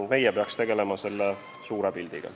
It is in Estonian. Meie peaksime tegelema suure pildiga.